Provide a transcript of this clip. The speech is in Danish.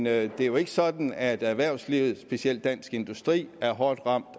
er jo ikke sådan at erhvervslivet specielt dansk industri er hårdt ramt